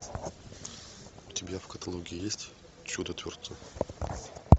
у тебя в каталоге есть чудотворцы